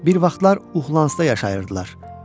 Bir vaxtlar Uxlansta yaşayırdılar.